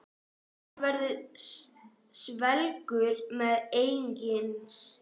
Hann verður svelgur sem engist.